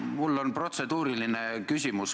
Mul on protseduuriline küsimus.